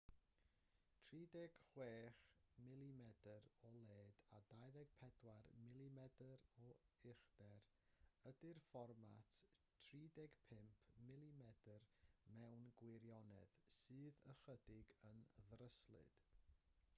36mm o led a 24mm o uchder ydy'r fformat 35mm mewn gwirionedd sydd ychydig yn ddryslyd